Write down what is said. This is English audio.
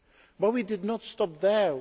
But we did not stop there.